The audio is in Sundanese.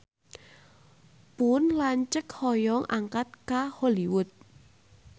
Pun lanceuk hoyong angkat ka Hollywood